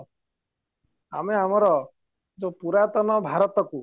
ଆମେ ଆମର ଯୋଉ ପୁରାତନ ଭାରତକୁ